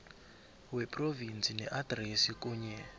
wephrovinsi neadresi kunye